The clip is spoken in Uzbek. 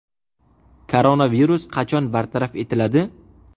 Koronavirus qachon bartaraf etiladi?